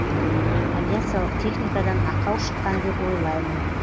авиациялық техникадан ақау шыққан деп ойлаймын